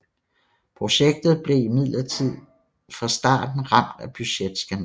Projektet blev imidlertid fra starten ramt af budgetskandale